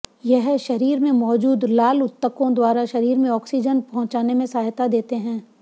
यह शरीर में मौजूद लाल उत्तकों द्वारा शरीर में ऑक्सीजन पहुंचाने में सहायता देते हैं